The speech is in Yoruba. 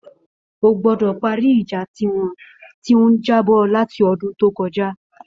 Ó gbọdọ pàrí ijà tiwọn ti n jà bọ làtí ọdùn tókọja